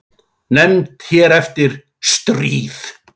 Nefnd hér eftir: Stríð.